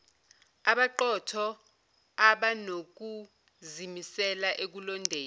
abaqotho abanokuzimisela ekulondeni